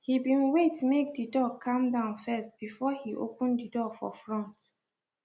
he been wait make the dog calm down first before he open the door for front